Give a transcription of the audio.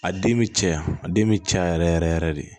A den bɛ cɛya a den bɛ caya yɛrɛ yɛrɛ yɛrɛ de